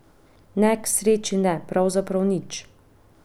Ne, k sreči ne, pravzaprav nič.